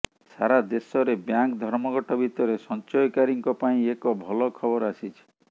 ସାରା ଦେଶରେ ବ୍ୟାଙ୍କ ଧର୍ମଘଟ ଭିତରେ ସଂଚୟକାରୀଙ୍କ ପାଇଁ ଏକ ଭଲ ଖବର ଆସିଛି